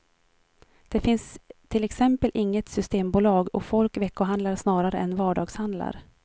Det finns till exempel inget systembolag och folk veckohandlar snarare än vardagshandlar.